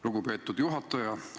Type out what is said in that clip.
Lugupeetud juhataja!